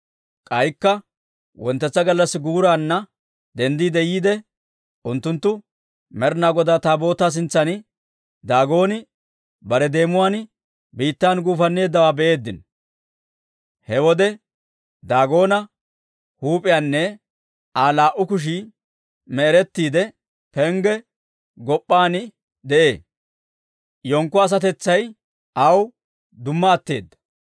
K'aykka wonttetsa gallassi guuraanna denddi yiide, unttunttu Med'inaa Godaa Taabootaa sintsan Daagoon bare deemuwaan biittan gufanneeddawaa be'eeddino! He wode Daagoona huup'iyaanne Aa laa"u kushii me'erettiide, pengge gop'p'aan de'ee; hinkko asatetsay aawe dumma atteedda.